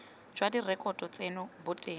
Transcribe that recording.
jwa direkoto tseno bo teng